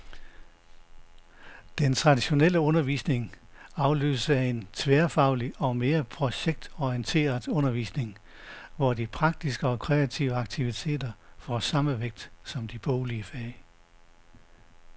Den traditionelle undervisning afløses af en tværfaglig og mere projektorienteret undervisning, hvor de praktiske og kreative aktiviteter får samme vægt som de boglige fag.